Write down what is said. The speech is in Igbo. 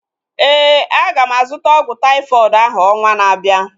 Éè, aga m azụta ọgwụ taifọdụ ahu ọnwa na-abịa